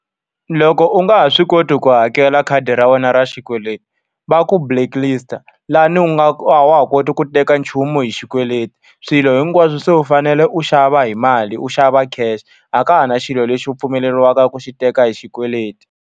Loko u nga ha swi koti ku hakela khadi ra wena ra xikweleti, va ku blacklist-a. Laha a wa ha koti ku teka nchumu hi xikweleti, swilo hinkwaswo se u fanele u xava hi mali u xava cash. A ka ha na xilo lexi u pfumeleriwaka ku xi teka hi xikweleti.